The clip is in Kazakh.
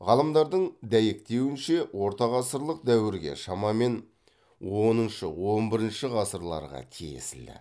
ғалымдардың дәйектеуінше ортағасырлық дәуірге шамамен оныншы он бірінші ғасырларға тиесілі